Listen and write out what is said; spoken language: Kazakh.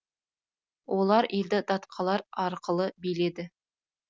олар елді датқалар арқылы биледі